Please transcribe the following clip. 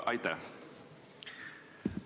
Aitäh!